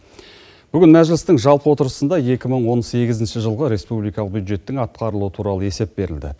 бүгін мәжілістің жалпы отырысында екі мың он сегізінші жылғы республикалық бюджеттің атқарылуы туралы есеп берілді